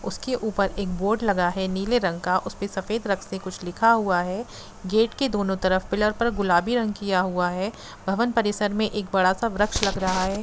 उसके ऊपर एक बोर्ड लगा है नीले रंग का उसपे सफेद रंग से कुछ लिखा हुआ है गेट के दोनों तरफ पिलर पर गुलाबी रंग किया हुआ है भवन परिसर में एक बङा सा वृक्ष लग रहा है।